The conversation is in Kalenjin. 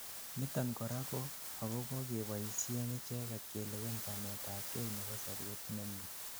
niton korak ko agobo keboishen icheget kelewen chamet ab gei nebo sobet nemie